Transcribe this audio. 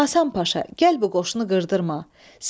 Hasan Paşa, gəl bu qoşunu qırdırma.